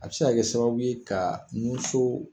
A bɛ se ka kɛ sababu ye ka nunso